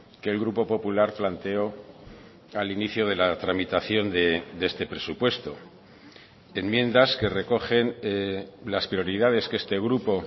que el grupo popular planteó al inicio de la tramitación de este presupuesto enmiendas que recogen las prioridades que este grupo